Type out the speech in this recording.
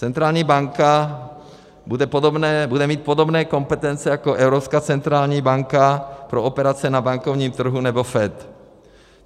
Centrální banka bude mít podobné kompetence jako Evropská centrální banka pro operace na bankovním trhu nebo FED.